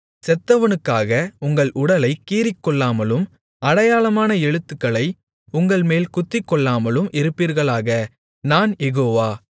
செத்தவனுக்காக உங்கள் உடலைக் கீறிக்கொள்ளாமலும் அடையாளமான எழுத்துக்களை உங்கள்மேல் குத்திக்கொள்ளாமலும் இருப்பீர்களாக நான் யெகோவா